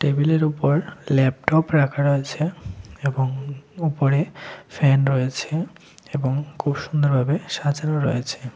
টেবিলের উপর ল্যাপটপ রাখা রয়েছে এবং উপরে ফ্যান রয়েছে এবং খুব সুন্দরভাবে সাজানো রয়েছে।